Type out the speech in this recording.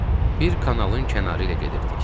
Bir kanalın kənarı ilə gedirdik.